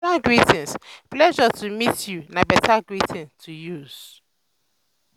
formal greetings "pleasure to meet you" na beta greeting to use.